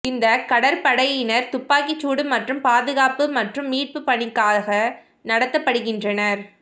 இந்த கடற்படையினர் துப்பாக்கிச் சூடு மற்றும் பாதுகாப்பு மற்றும் மீட்பு பணிக்காக நடத்தப்படுகின்றனர்